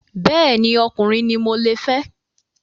Bẹ́ẹ̀ni, ọkùnrin ni mo le fẹ́